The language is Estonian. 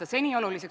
Urmas Kruuse, palun!